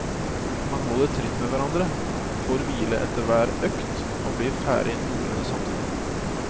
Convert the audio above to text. Man holder tritt med hverandre, får hvile etter hver økt og blir ferdig noenlunde samtidig.